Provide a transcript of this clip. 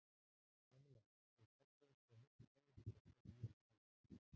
Kamilla, þú ert fallegasta og mest spennandi stelpa sem ég hef kynnst.